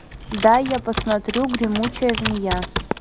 дай я посмотрю гремучая змея